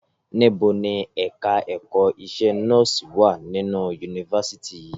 Níbo ni ẹ̀ka ẹ̀kọ́ iṣẹ́ nọ́ọ̀sì wà nínú yunifásítì yìí?